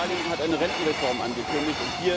Italien hat eine Rentenreform angekündigt.